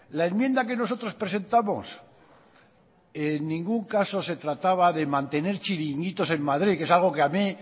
la enmienda que nosotros presentamos en ningún caso se trataba de mantener chiringuitos en madrid que es algo que a mí